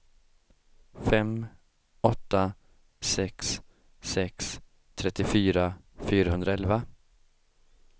fem åtta sex sex trettiofyra fyrahundraelva